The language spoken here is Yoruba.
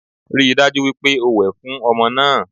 Rí i dájú wípé o wẹ̀ fún ọmọ náà